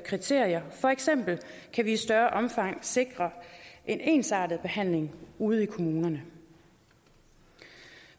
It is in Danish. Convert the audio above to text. kriterier og for eksempel kan vi i større omfang sikre en ensartet behandling ude i kommunerne